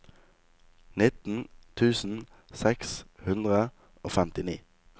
nitten tusen seks hundre og femtini